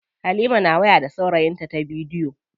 Halima na waya da saurayinta ta bidiyo.